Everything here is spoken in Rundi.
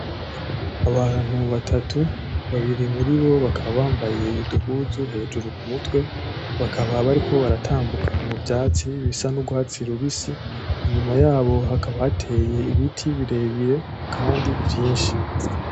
Abantu batatu babiri muri bo bakaba bambaye uduhuzu hejuru ku mutwe bakaba bariko baratambuka mu vyatsi bisa n'uguhatsira ubisi inyuma yabo hakabateye ibiti birebire, kandi vyinshi.